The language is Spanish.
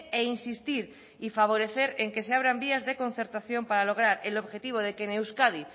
e insistir y favorecer en que se abran vías de concertación para lograr el objetivo de que en euskadi